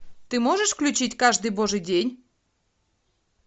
ты можешь включить каждый божий день